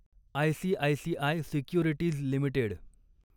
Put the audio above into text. ICICI securities limited